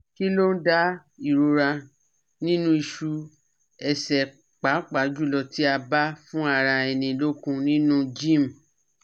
Kilon da irora ninu isu ese papa julo ti aba fun ara eni lokun ninu gym